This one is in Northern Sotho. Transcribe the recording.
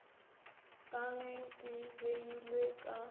ka ge di beilwe ka